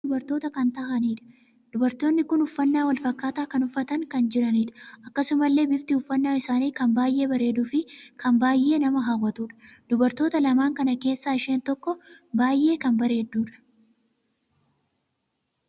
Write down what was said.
Namoonni kun dubartoota kan taahaniidha. Dubartootni kun uffannaa wal fakkaata kan uffatanii kan jiraniidha. Akkasumallee biftii uffannaa isaanii kan baay'ee bareeduu fi kan baay'ee nama hawwatuudha. dubartoota lamaan kana keessaa isheen tokkoo baay'ee kan bareedduudha.